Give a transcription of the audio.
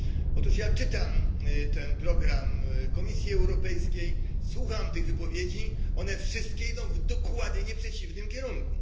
Otóż ja czytam ten program Komisji Europejskiej. Słucham tych wypowiedzi. One wszystkie idą w dokładnie przeciwnym kierunku.